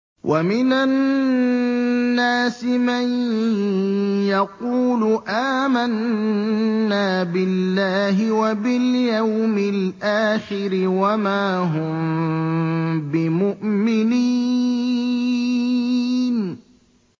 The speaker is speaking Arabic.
وَمِنَ النَّاسِ مَن يَقُولُ آمَنَّا بِاللَّهِ وَبِالْيَوْمِ الْآخِرِ وَمَا هُم بِمُؤْمِنِينَ